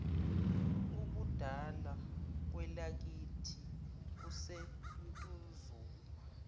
ubudala kwelakithi kusentuzuma